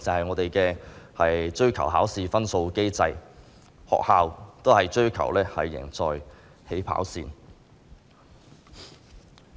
我們的機制是追求考試分數，學校也追求"贏在起跑線"。